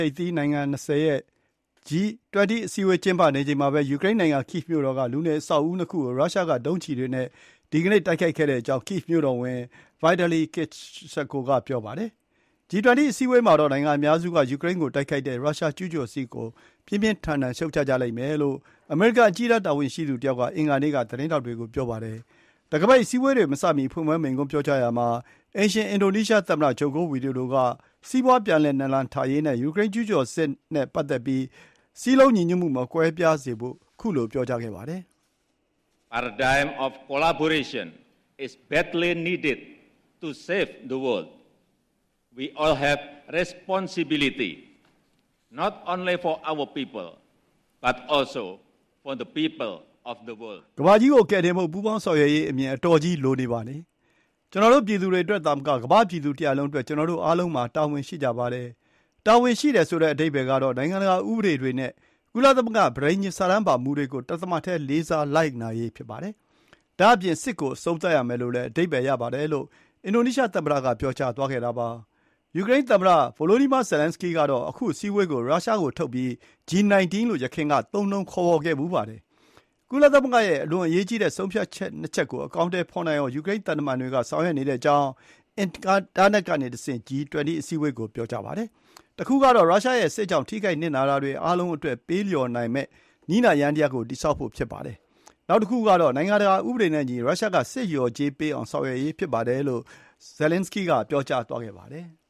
ိပ်သီးနိုင်ငံ ၂၀ ရဲ့ G-20 အစည်းအဝေး ကျင်းပနေချိန်မှာပဲ ယူကရိန်းနိုင်ငံ Kiev မြို့တော်က လူနေအဆောက်အဦးနှစ်ခုကို ရုရှားက ဒုံးကျည်တွေနဲ့ ဒီကနေ့ တိုက်ခိုက်ခဲ့တဲ့အကြောင်း Kiev မြို့တော်ဝန် Vitali Klitschko က ပြောပါတယ်။ ယူကရိန်းကိုတိုက်ခိုက်တဲ့ ရုရှားကျူးကျော်စစ်ကို G 20 ထိပ်သီး အစည်းအဝေးမှာ နိုင်ငံအများစုက ပြင်းပြင်းထန်ထန် ရှုတ်ချကြလိမ့်မယ်လို့ အမေရိကန်အကြီးတန်း တာဝန်ရှိသူတယောက်က အင်္ဂါနေ့က သတင်းထောက်တွေကို ပြောပါတယ်။ တံခါးပိတ်အစည်းအဝေးတွေမစမီ ဖွင့်ပွဲမိန့်ခွန်းမှာ အိမ်ရှင် အင်ဒိုနီးရှားသမ္မတ ဂျိုကိုဝီဒိုဒိုက စီးပွါးပြန်လည် နလန်ထရေးနဲ့ ယူကရိန်း ရုရှားကျူးကျော်စစ်နဲ့ ပတ်သက်ပြီး စည်းလုံးညီညွတ်မှုမကွဲပြားစေဖို့ ပြောကြားခဲ့ပါသေးတယ်။ “ကမ္ဘာကြီးကိုကယ်တင်ဖို့ ပူးပေါင်းဆောင်ရွက်ရေးအမြင် အတော်ကြီး လိုနေပါတယ်။ ကျနော်တို့ ပြည်သူတွေအတွက်သာမက ကမ္ဘာ့ ပြည်သူတရပ်လုံးအတွက် ကျနော်တို့ အားလုံးမှာ တာဝန်ရှိကြပါတယ်။ တာဝန်ရှိတယ်ဆိုတဲ့ အဓိပ္ပါယ်က နိုင်ငံတကာ ဥပဒေတွေနဲ့ ကုလသမဂ္ဂပဋိညာဉ် စာတမ်းပါမူတွေကို တသမတ်တည်း လေးစားလိုက်နာရေး ဖြစ်ပါတယ်။ ဒါ့အပြင် စစ်ကို အဆုံးသတ်ရမယ်လို့လည်း အဓိပ္ပါယ်ရပါတယ်။” လို့ အင်ဒိုနီးရှားသမ္မတက ပြောသွားတာပါ။ ယူကရိန်းသမ္မတ Volodymyr Zelenskyy ကတော့ ခု အစည်းအဝေးကို ယခင်က ရုရှားကိုထုတ်ပြီး G-19 လို့ သုံးနှုံးခဲ့ဖူးပါတယ်။ ကုလသမဂ္ဂရဲ့ အလွန်အရေးကြီးတဲ့ ဆုံးဖြတ်ချက် ၂ ချက်ကို အကောင်အထည်ဖော်နိုင်အောင် ယူကရိန်းသံတမန်တွေ က ဆောင်ရွက်နေကြောင်း အင်တာနက်ကနေတဆင့် ပြောပါတယ်။ တခုကတော့ ရုရှားရဲ့စစ်ကြောင့် ထိခိုက်နစ်နာတာတွေအားလုံးအတွက် ပေးလျော်နိုင်မည့် နည်းနာယန္တရားကို တည်ဆောက်ဖို့ ဖြစ်ပါတယ်။ နောက်တခုကတော့ နိုင်ငံတကာ ဥပဒေနဲ့အညီ ရုရှားက စစ်လျော်ကြေးပေးနိုင်အောင် ဆောင်ရွက်ရေးဖြစ်ပါတယ်လို့ ပြောသွားခဲ့ပါတယ်။